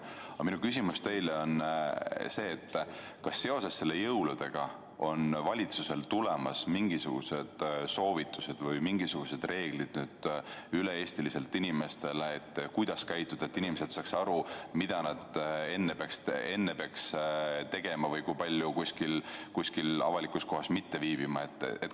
Aga minu küsimus teile on see: kas seoses jõuludega on valitsusel tulemas mingisugused soovitused või mingisugused üle-eestilised muud reeglid, kuidas käituda, et inimesed saaksid aru, mida nad enne pühi peaks tegema, kui kaua näiteks kuskil avalikus kohas ei tohi viibida?